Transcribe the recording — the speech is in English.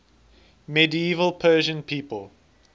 medieval persian people